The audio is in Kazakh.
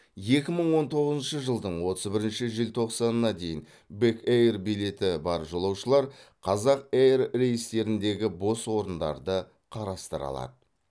екі мың он тоғызыншы жылдың отыз бірінші желтоқсанына дейін бек эйр билеті бар жолаушылар қазақ эйр рейстеріндегі бос орындарды қарастыра алады